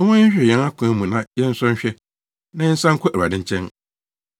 Momma yɛnhwehwɛ yɛn akwan mu na yɛnsɔ nhwɛ, na yɛnsan nkɔ Awurade nkyɛn.